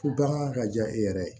Fo bagan ka diya e yɛrɛ ye